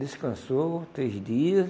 Descansou três dias.